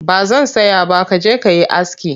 Ba zan saya ba ka je ka yi aski